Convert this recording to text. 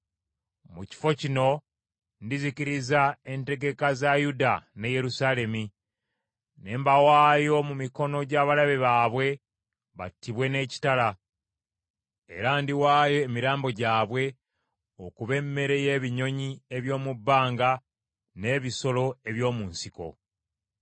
“ ‘Mu kifo kino ndizikiriza entegeka za Yuda ne Yerusaalemi. Ne mbawaayo mu mikono gy’abalabe baabwe battibwe n’ekitala, era ndiwaayo emirambo gyabwe okuba emmere y’ebinyonyi eby’omu bbanga n’ebisolo eby’omu nsiko.